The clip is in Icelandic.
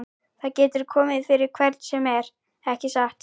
Það getur komið fyrir hvern sem er, ekki satt?